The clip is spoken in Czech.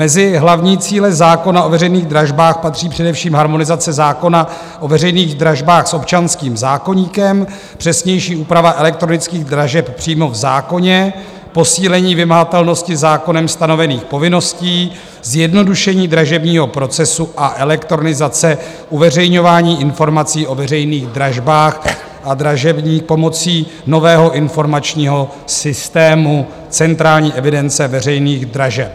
Mezi hlavní cíle zákona o veřejných dražbách patří především harmonizace zákona o veřejných dražbách s občanským zákoníkem, přesnější úprava elektronických dražeb přímo v zákoně, posílení vymahatelnosti zákonem stanovených povinností, zjednodušení dražebního procesu a elektronizace uveřejňování informací o veřejných dražbách a dražební pomocí nového informačního systému centrální evidence veřejných dražeb.